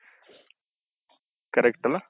correct ಅಲ